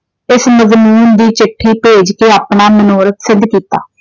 ਇਸ ਦੀ ਚਿੱਠੀ ਭੇਜ ਕੇ ਆਪਣਾ ਮਨੋਰਥ ਸਿੱਧ ਕੀਤਾ।